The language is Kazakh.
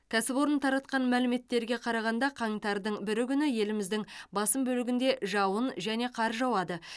кәсіпорын таратқан мәліметтерге қарағанда қаңтардың бірі күні еліміздің басым бөлігінде жауын және қар жауады